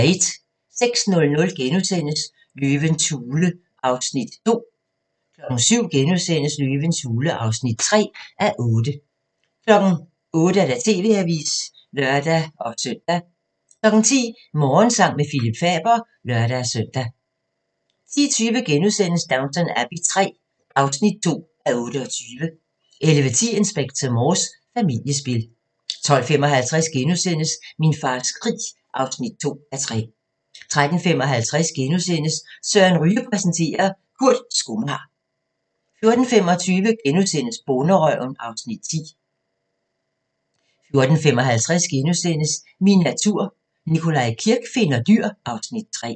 06:00: Løvens hule (2:8)* 07:00: Løvens hule (3:8)* 08:00: TV-avisen (lør-søn) 10:00: Morgensang med Phillip Faber (lør-søn) 10:20: Downton Abbey III (2:28)* 11:10: Inspector Morse: Familiespil 12:55: Min fars krig (2:3)* 13:55: Søren Ryge præsenterer - Kurt skomager * 14:25: Bonderøven (Afs. 10)* 14:55: Min natur - Nikolaj Kirk finder dyr (Afs. 3)*